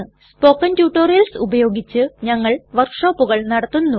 spoken tutorials ഉപയോഗിച്ച് ഞങ്ങൾ വർക്ക്ഷോപ്പുകൾ നടത്തുന്നു